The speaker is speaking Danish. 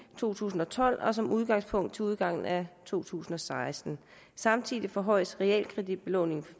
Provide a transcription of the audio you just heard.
to tusind og tolv og som udgangspunkt til udgangen af to tusind og seksten samtidig forhøjes realkreditbelåningen